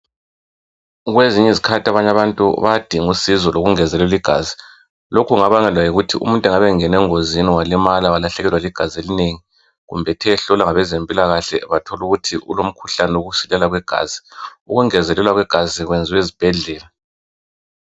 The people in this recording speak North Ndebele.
Kwezinye izikhathi abanye abantu bayadinga usizo lokungezelelwa igazi lokhu kungabangelwa yikuthi umuntu engabe engene engozini walimala walahlekelwa ligazi elinengi kumbe ethe ehlolwa ngabezempilakahle bathola ukuthi ulomkhuhlane wokusilela kwegazi ukungezelelwa kwegazi kwenziwa ezibhedlela.